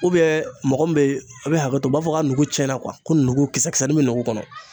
Ubiyen mɔgɔ min b ye a be hakɛto u b'a fɔ k'a nugu cɛna kuwa ko nugu kisɛ kisɛnin be nugu kɔnɔ